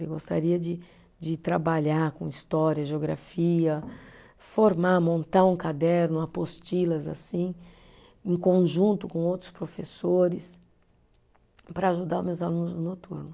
Eu gostaria de de trabalhar com história, geografia, formar, montar um caderno, apostilas assim, em conjunto com outros professores, para ajudar meus alunos no noturno.